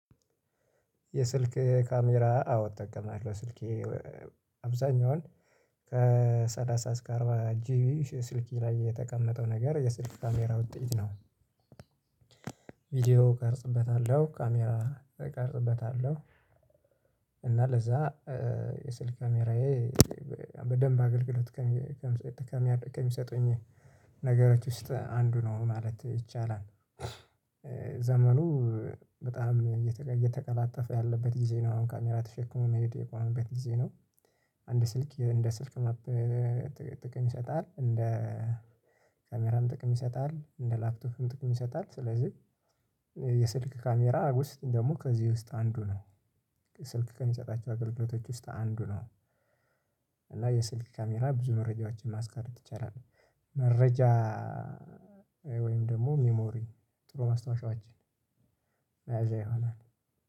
የስልክ ካሜራ አዎ እጠቀማለሁ ስልኬ አብዛኛውን ከሠላሳ እስከ አርባ ጂቢ ስልኬ ላይ የተቀመጠው ነገር የስልክ ካሜራ ውጤት ነው። ቪዲዮ ቀርጽበታለሁ ካሜራ እቀርጽበታለሁ። እና ለዛ የስልክ ካሜራዬ በደንብ አገልግሎት ከሚሰጡኝ ነገሮች ውስጥ አንዱ ነው ማለት ይቻላል። ዘመኑ በጣም እየተቀላጠፈ ያለበት ጊዜ ነው አሁን ካሜራ ተሸክሞ መሄድ የቆመበት ጊዜ ነው። አንድ ስልክ እንደ ስልክ መጥተህ ጥቅም ይሰጣል እንደ ካሜራም ጥቅም ይሰጣል እንደ ላፕቶፕም ጥቅም ይሰጣል። ስለዚህ የስልክ ካሜራ ውስጥ ደግሞ ከዚህ ውስጥ አንዱ ነው። ስልክ ከሚሰጣቸው አገልግሎቶች ውስጥ አንዱ ነው። እና የስልክ ካሜራ ብዙ መረጃዎችን ማስቀረት ይቻላል። መረጃ ደግሞ ሚሞሪ ጥሩ ማስታወሻዎችን የያዘ ይሆናል